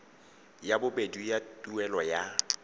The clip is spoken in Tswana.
ya bobedi ya tuelo ya